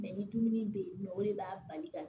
Mɛ ni dumuni bɛ yen nɔ o de b'a bali ka